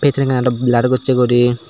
cini aro blur gossi gori.